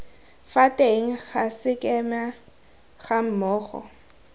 fa teng ga sekema gammogo